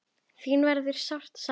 Þín verður sárt saknað.